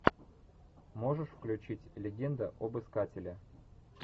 можешь включить легенда об искателе